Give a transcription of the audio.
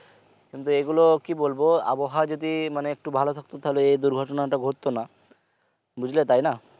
কিন্তু এগুলো কি বলবো আবহাওয়া যদি মানে একটু ভালো থাকতো তাহলে এই দুর্ঘটনা টা ঘটতো না বুঝলে তাইনা